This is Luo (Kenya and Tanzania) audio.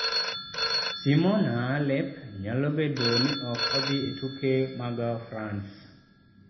Simona Halep nyalo bedo ni ok odhi e tuke mag France